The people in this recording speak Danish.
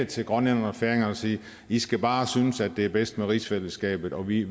til grønlænderne og færingerne og sige i skal bare synes det er bedst med rigsfællesskabet og vi